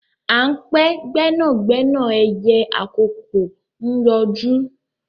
À ń pe gbẹ́nàgbẹ́nà ẹyẹ àkókó ń yọjú